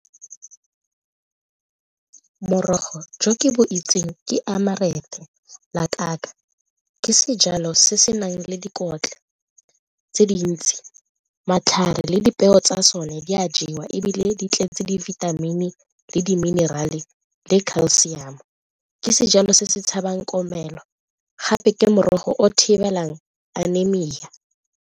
Morogo jo ke bo itseng ke ke sejalo se se nang le dikotla tse dintsi, matlhare le dipeo tsa tsone di a jewa ebile di tletse dibithamini le di-mineral-e le calcium. Ke sejalo se se tshabang komelelo gape ke morogo o thibelang .